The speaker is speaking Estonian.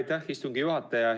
Aitäh, istungi juhataja!